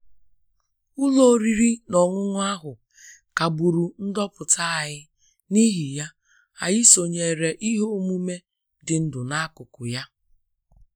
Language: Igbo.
Ụlọ oriri na ọṅụṅụ ahụ kagburu ndoputa anyị, n'ihi ya, anyị sonyeere ihe omume dị ndụ n'akụkụ ya